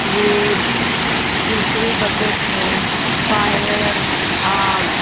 रेत दूसरी बकेट में फायर आग --